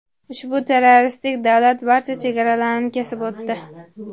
Ushbu terroristik davlat barcha chegaralarni kesib o‘tdi.